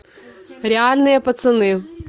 реальные пацаны